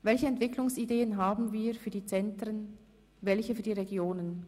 Welche Entwicklungsideen haben wir für die Zentren, welche für die Regionen?